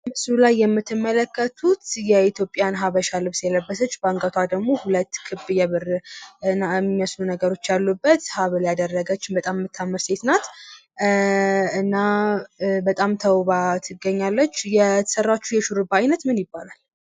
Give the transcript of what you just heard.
ምስሉ ላይ የምትመለከቱት የኢትዮጵያ ባህላዊ ልብስ የለበስች በአንገቷ ደግሞ ክብ የብር የሚመስሉ ነገሮች ያሉበት ሃብል ያደረገች በጣም የምታምር ሴት ናት። እና በጣም ተዉባ ትገኛለች። የተሰራችው የሹርባ አይነት ምን ይባላል።